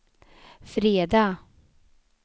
fredag